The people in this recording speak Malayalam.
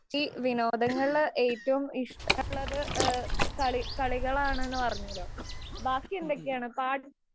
ഈ വിനോദങ്ങളില്‍ ഏറ്റവും ഇഷ്ടം ഉള്ളത് കളി കളികളാണെന്ന് പറഞ്ഞുവല്ലോ. ബാക്കി എന്തൊക്കെയാണ്? പാട്ട്